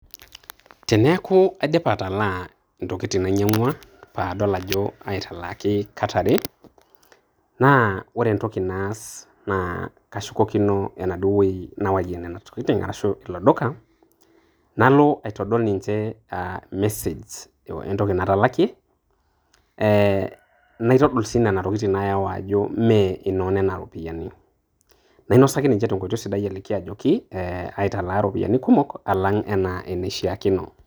Teneeku aidipa atalaa intokiting' nainyang'ua nadol ajo aitalaaki kat are, na ore entoki naas na kashukokino enaduo woi nawayie nenatokiting' arashu aladuo duka, nalo atodol ninche a mesej entoki natalakie, eh naitodol si nena tokiting' nayawa ajo mee inoonena ropiyaiani. Nainosaki ninche tenkoitoi sidai ajo eh aitalaa iropiyiani kumok nemeishaakino.